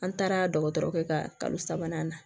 An taara dɔgɔtɔrɔ kɛ ka kalo sabanan na